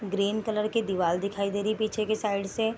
Green colour की दिवाल दिखाई दे रही है पीछे की साइड से।